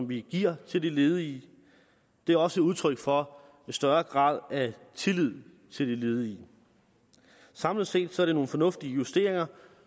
vi giver til de ledige det er også udtryk for en større grad af tillid til de ledige samlet set er det nogle fornuftige justeringer